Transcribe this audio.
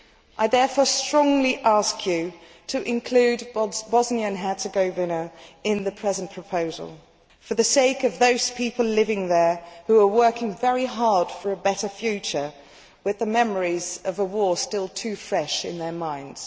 I therefore strongly ask you to include Bosnia and Herzegovina in the present proposal for the sake of those people living there who are working very hard for a better future with the memories of war still too fresh in their minds.